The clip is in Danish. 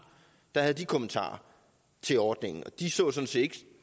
der havde de kommentarer til ordningen og de så sådan set